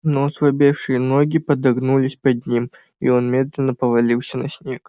но ослабевшие ноги подогнулись под ним и он медленно повалился на снег